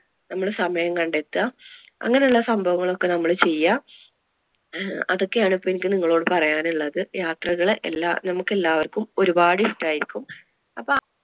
നമ്മള് സമയം കണ്ടെത്തുക. അങ്ങനെ ഉള്ള സംഭവങ്ങൾ ഒക്കെ നമ്മള് ചെയ്യാ. അതൊക്കെ ആണ് ഇപ്പൊ എനിക്ക് നിങ്ങളോടു പറയാൻ ഉള്ളത്. യാത്രകള് എല്ലാ~ നമുക്ക് എല്ലാവർക്കും ഒരുപാട് ഇഷ്ടം ആയിരിക്കും അപ്പോൾ ആ